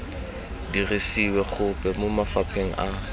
dirisiwe gope mo mafapheng a